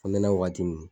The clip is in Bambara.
Funtenin wagati min